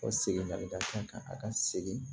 Ka segin ka kan ka a ka segin